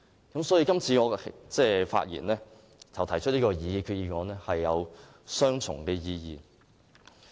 我今次發言及提出擬議決議案，是有雙重意義的。